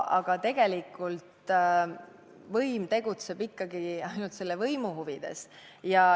Aga tegelikult võim tegutseb ikkagi ainult võimu huvides.